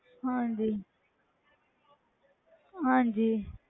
ਹਾਂਜੀ ਹਾਂਜੀ